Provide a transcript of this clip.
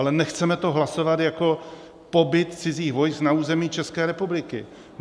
Ale nechceme to hlasovat jako pobyt cizích vojsk na území České republiky.